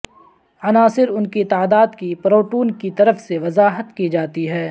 عناصر ان کی تعداد کی پروٹون کی طرف سے وضاحت کی جاتی ہے